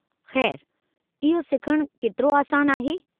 खै़रु इहो सिखणु केतिरो आसानु आहे?